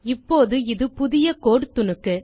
இப்போது இது புதிய கோடு துணுக்கு